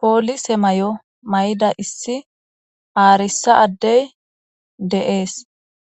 poolise may'o may'ida issi aarissa addey deees